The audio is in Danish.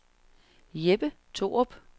Jeppe Thorup